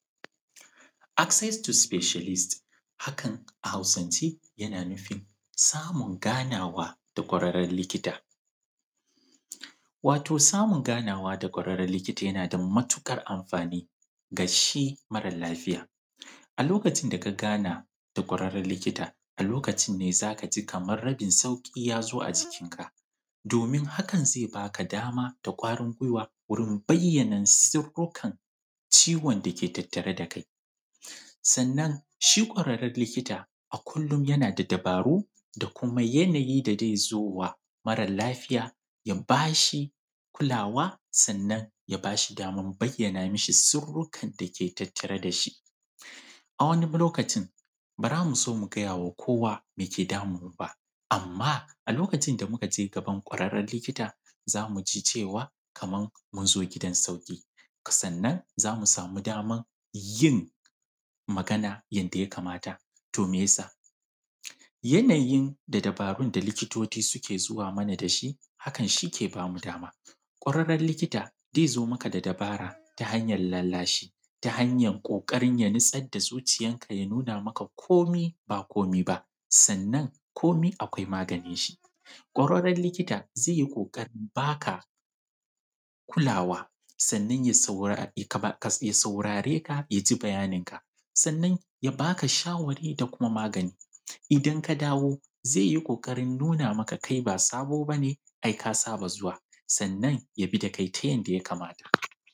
Access to specialist. Hakan a Hausance, yana nufin, samun ganawa da ƙwararren likita. Wato samun ganawa da ƙwararren likita yana da matuƙar amfani ga shi mara lafiya. A lokacin da ka gana da ƙwararren likita, a lokacin ne za ka ji kamar rabin sauƙi ya zo a jikinka, domin hakan zai ba ka dama da ƙwarin gwiwa wurin bayyana sirrukan ciwon da ke tattare da kai. Sannan, shi ƙwararren likita, a kullum yana da dabaru da kuma yanayi da zai zo wa mara lafiya, ya ba shi kulawa sannan ya ba shi daman bayyana mishi sirrukan da ke tattare da shi. har wani lokacin, ba za mu so mu gaya wa kowa me ke damun mu ba, amma a lokacin da muka je gaban ƙwararren likita za mu ji cewa, kaman mun zo ne gidan sauƙi, sannan za mu samu daman yin magana yadda ya kamata, to me ya sa? Yanayin da dabarun da likitoci suke zuwa mana da shi, hakan shi ke ba mu dama. Ƙwararren likita zai zo maka da dabara ta hanyar lallashi, ta hanyar ƙoƙarin ya nutsar da zuciyarka ya nuna maka komi ba komi ba, sannan komi akwai maganinshi. Ƙwararren likita, zai yi ƙoƙarin ba ka kulawa; sannan ya saurare ka ya ji bayaninka; sannan ya ba ka shawarwari da kuma magani. Idan ka dawo, zai yi ƙoƙarin nuna maka kai ba sabo ba ne, ai ka saba zuwa, sannan ya bi da kai ta yanda ya kamata.